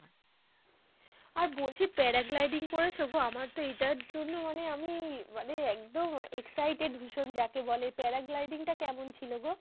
আর বলছি paragliding করেছো গো? আমার তো এইটার জন্য মনে আমি মানে একদম excited ভীষণ যাকে বলে। paragliding টা কেমন ছিল গো?